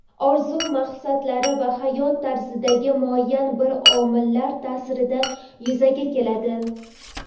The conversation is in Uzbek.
orzu maqsadlari va hayot tarzidagi muayyan bir omillar taʼsirida yuzaga keladi.